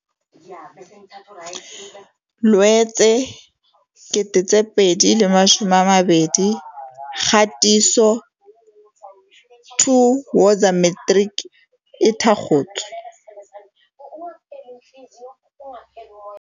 Loetse 2020 Kgatiso 2Woza Matrics e thakgotswe.